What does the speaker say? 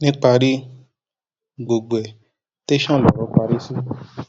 níparí gbogbo ẹ tẹsán lọrọ parí sí